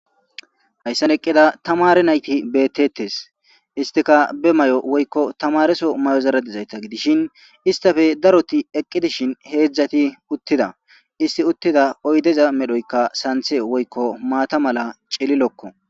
Hayssan eqqida tamare naytti bettetes. Hesttikka be may'o woyko tamarezo may'ozara dizaytta gidishin histtappe darotti eqqi dishin hedzdzatti uttida. Histti uttida oydeza medhdhoykka santte woyko maaththa mala cililokko.